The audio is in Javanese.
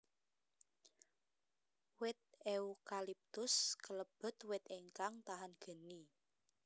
Wit eukaliptus kalebet wit ingkang tahan geni